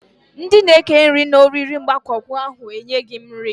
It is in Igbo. Ndị na eke nri na-oriri agbamakwụkwọ ahụ e nyeghị m nri